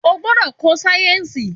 O gbọdọ̀ ko sáyẹ̀nsì!